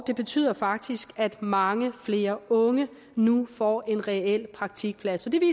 det betyder faktisk at mange flere unge nu får en reel praktikplads